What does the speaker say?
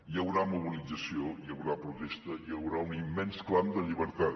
hi haurà mobilització hi haurà protesta hi haurà un immens clam de llibertat